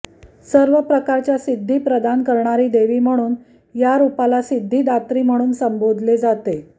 सर्व प्रकारच्या सिद्धी प्रदान करणारी देवी म्हणून या रुपाला सिद्धिदात्री म्हणून संबोधले जाते